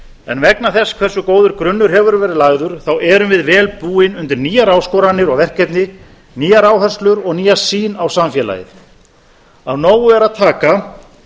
en vegna þess hversu góður grunnur hefur verið lagður erum við vel búin undir nýjar áskoranir og verkefni nýjar áherslur og nýja sýn á samfélagið af nógu er að taka